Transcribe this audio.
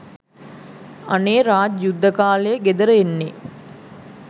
අනේ රාජ් යුද්ද කාලේ ගෙදර එන්නේ